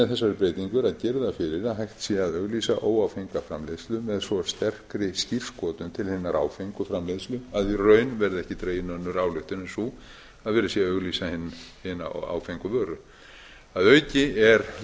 girða fyrir að hægt sé að auglýsa óáfenga framleiðslu með svo sterkri skírskotun til hinnar áfengu framleiðslu að í raun verði ekki dregin önnur ályktun en sú að verið sé að auglýsa hina áfengu vöru að auki er